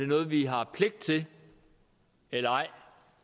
noget vi har pligt til eller ej